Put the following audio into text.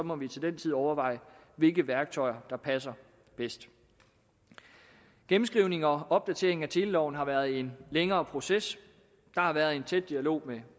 må vi til den tid overveje hvilke værktøjer der passer bedst gennemskrivningen og opdateringen af teleloven har været en længere proces der har været en tæt dialog med